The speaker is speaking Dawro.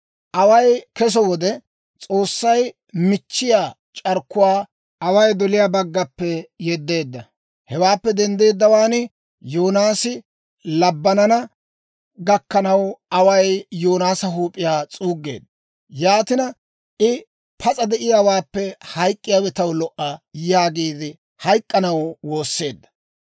Away kesso wode, S'oossay michchiyaa c'arkkuwaa away doliyaa baggappe yeddeedda; hewaappe denddeddawaan Yoonaasi labbanana gakkanaw, away Yoonaasa huup'iyaa s'uuggeedda. Yaatina I, «Pas'a de'iyaawaappe hayk'k'iyaawe taw lo"a» yaagiide hayk'k'anaw woosseedda.